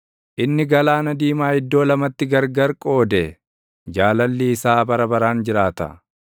inni Galaana Diimaa iddoo lamatti gargarii qoode; Jaalalli isaa bara baraan jiraata.